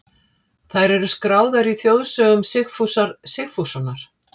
Þær eru skráðar í þjóðsögum Sigfúsar Sigfússonar.